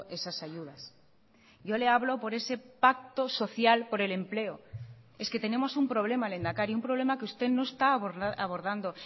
esas ayudas yo le hablo por ese pacto social por el empleo es que tenemos un problema lehendakari un problema que usted no está abordando